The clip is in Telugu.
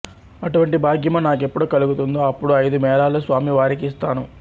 అటువంటి భాగ్యము నాకెప్పుడు కలుగుతుందో అప్పుడు ఐదు మేళాలు స్వామి వారికి ఇస్తాను